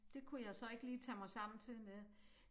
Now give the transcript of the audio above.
Det kunne jeg så ikke lige tage mig sammen til med